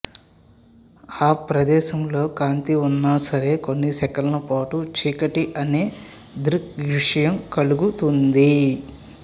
ఆ ప్రదేశంలో కాంతి ఉన్నా సరే కొన్ని సెకన్లపాటు చీకటి అనె దృగ్విషయం కలుగుతుంది